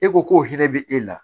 E ko k'o hɛrɛ bɛ e la